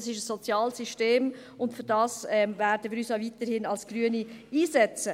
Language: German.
Es ist ein soziales System, und wir Grüne werden uns auch weiterhin dafür einsetzen.